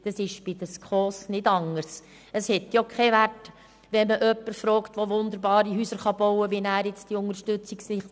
Ich will nicht polemisieren und tue es auch nicht.